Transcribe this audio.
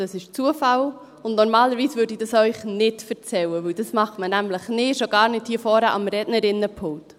Das ist Zufall, und normalerweise würde ich Ihnen das nicht erzählen, schon gar nicht hier vorne am Rednerinnenpult.